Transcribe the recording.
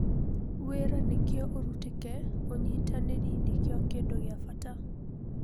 Wĩra nĩkĩo ũrutĩke ũnyitanĩri nĩkĩo kĩndũ gĩa-bata."